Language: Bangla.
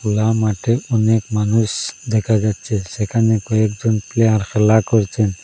খেলা মাঠে অনেক মানুষ দেখা যাচ্ছে সেখানে কয়েকজন প্লেয়ার খেলা করছেন।